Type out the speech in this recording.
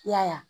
I y'a ye